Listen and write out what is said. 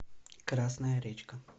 красная речка